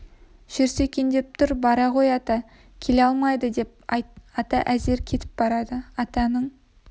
жүрсе екен деп тұр бара ғой ата келе алмайды деп айт ата әзер кетіп барады атаның